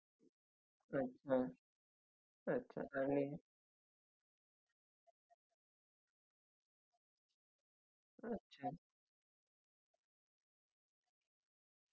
असा एक fridge आहे तर तो घेण्यासाठी तुम्हाला म्हणजे जर replacement हवी असेल तर आम्ही तो तुम्हाला देऊ शिकतो तर तुम्हाला त्याच्यासाठी फक्त पाच हजार रुपय extra pay करावे लागतील